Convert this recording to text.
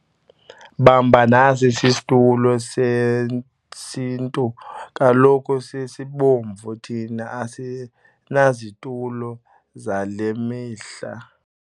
Bamba nasi isisitulo sesintu kaloku sisebomvu thina asinazitulo zale mihle.